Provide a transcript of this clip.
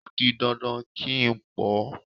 O di dandan kí n pọ́ ọ.